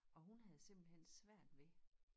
Og hun havde simpelthen svært ved